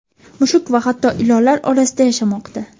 mushuk va hatto ilonlar orasida yashamoqda.